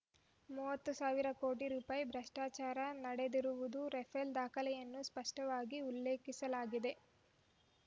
ಮೂವತ್ತು ಸಾವಿರ ಕೋಟಿ ರೂಪಾಯಿ ಭ್ರಷ್ಟಾಚಾರ ನಡೆದಿರುವುದು ರಫೇಲ್ ದಾಖಲೆಯಲ್ಲಿ ಸ್ಪಷ್ಟವಾಗಿ ಉಲ್ಲೇಖಿಸಲಾಗಿದೆ